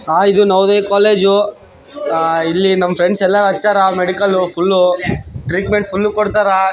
ಆ ಇದು ನವೋದಯ ಕೋಲೇಜ್ ಇಲ್ಲಿ ನಮ್ಮ ಫ್ರೆಂಡ್ಸ್ ಎಲ್ಲ ಹಚಾರ ಮೆಡಿಕಲ್ ಫುಲ್ಲ್ ಟ್ರೀಟ್ಮೆಂಟ್ ಫುಲ್ಲ್ ಕೊಡ್ತಾರ.